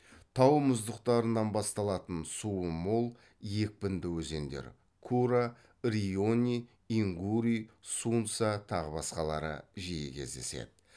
тау мұздықтарынан басталатын суы мол екпінді өзендер жиі кездеседі